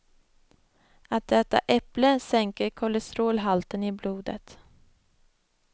Att äta äpple sänker kolesterolhalten i blodet.